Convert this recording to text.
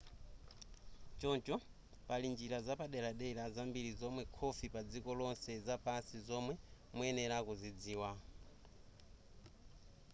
choncho pali njira zapaderadera zambiri zomwera khofi padziko lonse zapansi zomwe muyenera kudzidziwa